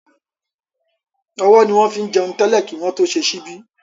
Ọwọ́ ni wọ́n fín jẹun tẹ́lẹ̀ kí wọ́n tó ṣe ṣíbí